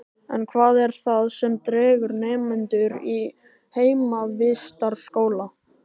En hvað er það sem dregur nemendur í heimavistarskóla?